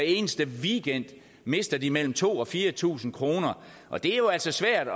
eneste weekend mister de mellem to tusind og fire tusind kr og det er jo altså svært